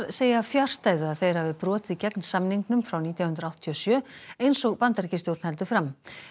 segja fjarstæðu að þeir hafi brotið gegn samningnum frá nítján hundruð áttatíu og sjö eins og Bandaríkjastjórn heldur fram